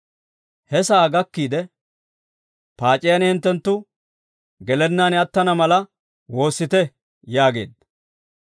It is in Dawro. He sa'aa gakkiide, «Paac'iyaan hinttenttu gelennaan attana mala, woossite» yaageedda.